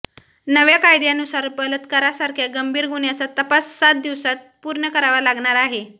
नव्या कायद्यानुसार बलात्कारासारख्या गंभीर गुन्ह्याचा तपास सात दिवसात पूर्ण करावा लागणार आहे